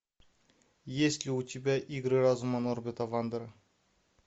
есть ли у тебя игры разума норгета вандера